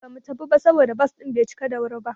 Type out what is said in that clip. Ba mu tafiya ba saboda bas din bai cika da wuri ba.